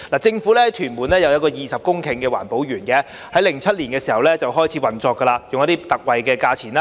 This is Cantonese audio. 政府在屯門有佔地20公頃的環保園，在2007年開始運作，以特惠價錢出租土地。